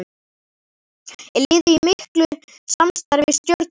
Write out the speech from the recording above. Er liðið í miklu samstarfi við Stjörnuna?